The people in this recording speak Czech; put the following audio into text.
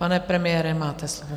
Pane premiére, máte slovo.